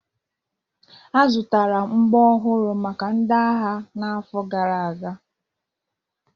A zụtara mgbọ ọhụrụ maka ndị agha n'afọ gara aga.